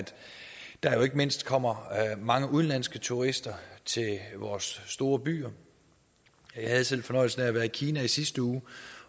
der ikke mindst kommer mange udenlandske turister til vores store byer jeg havde selv fornøjelsen af at være i kina i sidste uge